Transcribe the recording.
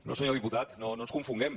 no senyor diputat no ens confonguem